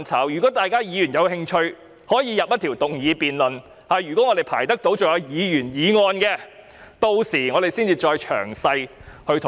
如果議員有興趣，可以提出一項議員議案進行辯論，我們屆時將可以詳細討論。